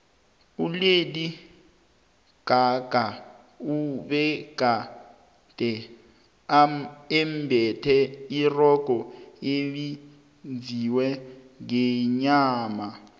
ulady gaga ubegade embethe irogo elenziwe ngenyama